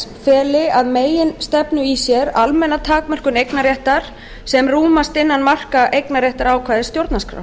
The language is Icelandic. þess feli að meginstefnu í sér almenna takmörkun eignarréttar sem rúmast innan marka eignarréttarákvæðis stjórnarskrár